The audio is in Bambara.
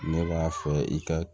Ne b'a fɛ i ka